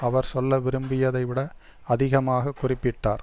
அவர் சொல்ல விரும்பியதை விட அதிகமாக குறிப்பிட்டார்